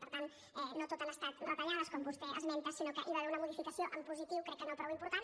per tant no tot han estat retallades com vostè esmenta sinó que hi va haver una modificació en positiu crec que no prou important